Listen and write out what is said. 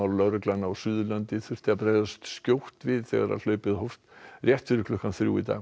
lögreglan á Suðurlandi þurfti að bregðast skjótt við þegar hlaupið hófst rétt fyrir klukkan þrjú í dag